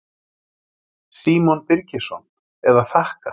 Símon Birgisson: Eða þakka?